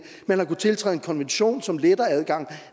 man har kunnet tiltræde en konvention som letter adgangen